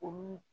Olu